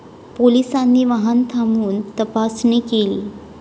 पोलिसांनी वाहन थांबवून तपासणी केली.